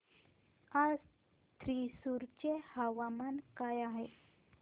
आज थ्रिसुर चे हवामान काय आहे